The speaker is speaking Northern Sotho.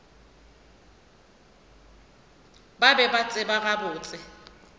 ba be ba tseba gabotse